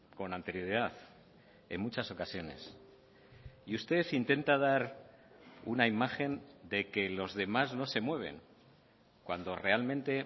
con anterioridad en muchas ocasiones y usted intenta dar una imagen de que los demás no se mueven cuando realmente